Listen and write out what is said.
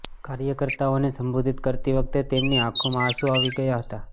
કાર્યકર્તાઓને સંબોધીત કરતી વખતે તેમની આંખોમાં આસું આવી ગયા હતા